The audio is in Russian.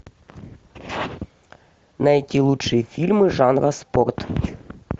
найти лучшие фильмы жанра спорт